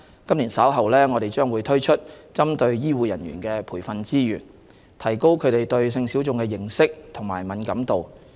今年稍後，我們將推出針對醫護人員的培訓資源，提高他們對性小眾的認識和敏感度。